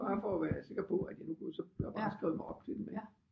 Bare for at være sikker på at jeg nu kunne så har jeg bare skrevet mig op til den ikke